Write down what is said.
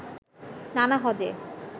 নানা হজ্বে